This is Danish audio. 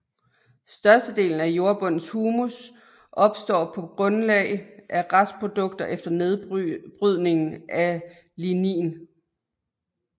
Størstedelen af jordbundens humus opstår på grundlag af restprodukter efter nedbrydningen af lignin